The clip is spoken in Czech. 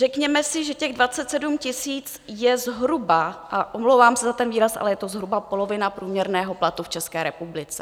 Řekněme si, že těch 27 000 je zhruba, a omlouvám se za ten výraz, ale je to zhruba polovina průměrného platu v České republice.